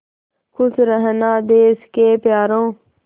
खुश रहना देश के प्यारों